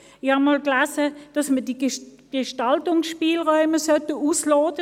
Ich habe einmal gelesen, dass man die Gestaltungsspielräume ausloten solle.